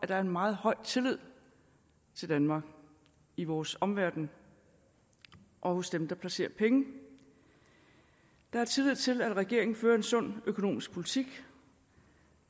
der er en meget høj tillid til danmark i vores omverden og hos dem der placerer penge der er tillid til at regeringen fører en sund økonomisk politik